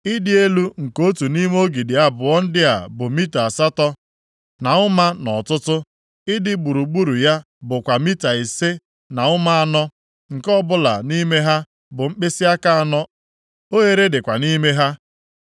Ị dị elu nke otu nʼime ogidi abụọ ndị a bụ mita asatọ na ụma + 52:21 Iri nzọ ụkwụ abụọ na asaa nʼọtụtụ. Ị dị gburugburu ya bụkwa mita ise na ụma anọ, + 52:21 Nzọ ụkwụ iri na asatọ nke ọbụla nʼime ha bụ mkpịsịaka anọ. Oghere dịkwa nʼime ha.